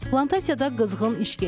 Plantasiyada qızğın iş gedir.